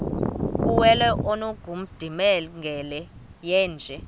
kuwele ongundimangele yeenje